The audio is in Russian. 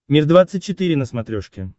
мир двадцать четыре на смотрешке